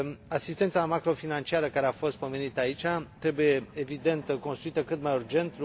Asistența macrofinanciară care a fost convenită aici trebuie, evident, construită cât mai urgent